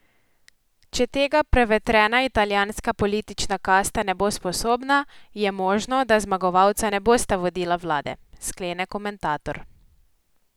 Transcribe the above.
Če tega prevetrena italijanska politična kasta ne bo sposobna, je možno, da zmagovalca ne bosta vodila vlade, sklene komentator.